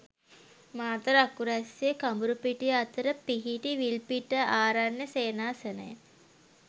මාතර අකුරැස්සේ කඹුරුපිටිය අතර පිහිටි විල්පිට ආරණ්‍ය සේනාසනය